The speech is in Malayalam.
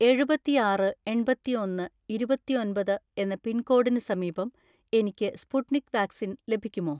എഴുപത്തിആറ് എണ്‍പത്തിഒന്ന് ഇരുപത്തിഒന്‍പത് എന്ന പിൻകോഡിന് സമീപം എനിക്ക് സ്പുട്നിക് വാക്സിൻ ലഭിക്കുമോ?